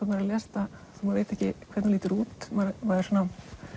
maður les þetta þó maður viti ekki hvernig hún lítur út maður svona